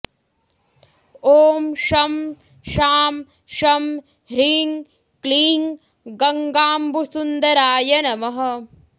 ॐ शं शां षं ह्रीं क्लीं गङ्गाम्बुसुन्दराय नमः